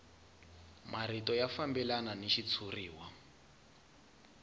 marito ya fambelana ni xitshuriwa